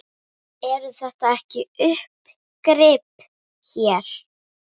Eru þetta ekki uppgrip hér?